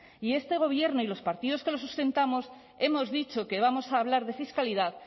y este gobierno y los partidos que lo sustentamos hemos dicho que vamos a hablar de fiscalidad